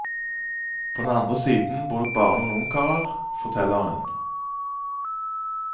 På den andre siden bor det bare noen ungkarer, forteller hun.